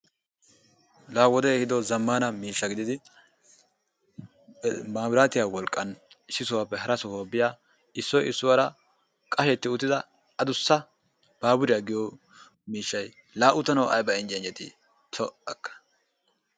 La wodee ehiddoo zamana mishaa gididdi, mabiratiyaa wolqan issi sohuwappe hara sohuwaa biyaa issoy issuwara qashetti uttiddaa addusaa baburiyaa giyo mishaay laa uttaanawu ayba injjee injjeeti po'akka.